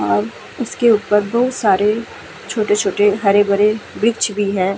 और उसके ऊपर बोहोत सारे छोटे-छोटे हरे-भरे विरक्ष भी हैं।